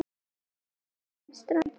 Tilkynning um strandveiðar